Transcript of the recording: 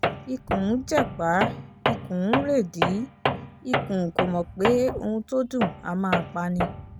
ikùn ń jẹ̀pá ikùn ń rèdìí ikùn kó mọ̀ pé ohun tó dùn á máa pa ni